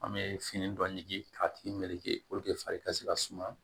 An bɛ fini dɔ jigi k'a tigi mere puruke fari ka se ka suma